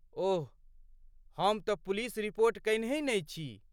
ओह, हम तँ police report कयनहि नहि छी।